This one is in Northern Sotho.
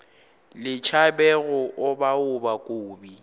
le tšhabe go obaoba kobi